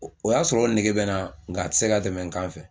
O o y'a sɔrɔ o nege bɛ n na ng'a tɛ se ka tɛmɛ n kan fɛ.